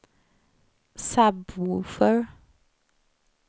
sub-woofer